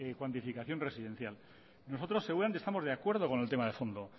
cuantificación residencial nosotros seguramente estamos de acuerdo con el tema de fondo